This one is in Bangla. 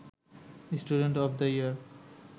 student of the year